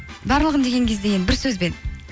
барлығын деген кезде енді бір сөзбен